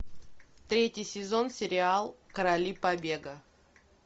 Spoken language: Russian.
третий сезон сериал короли побега